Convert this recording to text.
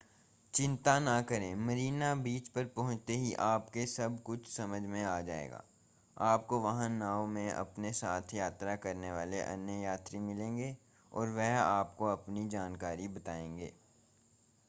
चिंता न करें मरीना बीच पर पहुंचते ही आपको सब कुछ समझ में आ जाएगा आपको वहां नाव में अपने साथ यात्रा करने वाले अन्य यात्री मिलेंगे और वे आपको अपनी जानकारी बताएंगे